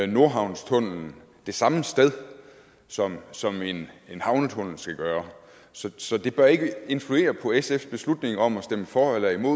nordhavnstunnellen det samme sted som som en havnetunnel skal gøre så så det bør ikke influere på sfs beslutning om at stemme for eller imod